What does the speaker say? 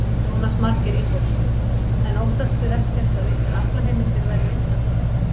Jónas Margeir Ingólfsson: En óttastu ekkert að ykkar aflaheimildir verði innkallaðar?